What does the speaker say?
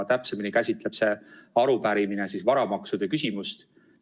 Täpsemini öeldes käsitleb see arupärimine varamaksude küsimust.